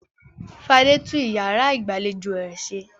Fadé tún ìyàrá ìgbàlejò rẹ̀ ṣe.